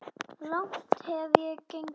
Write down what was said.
Langt hef ég gengið.